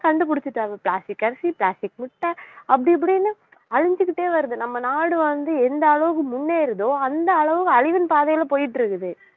கண்டுபிடிச்சுட்டாங்க plastic அரிசி plastic முட்டை அப்படி இப்படின்னு அழிஞ்சுக்கிட்டே வருது நம்ம நாடு வந்து எந்த அளவுக்கு முன்னேறுதோ அந்த அளவுக்கு அழிவின் பாதையில போயிட்டு இருக்குது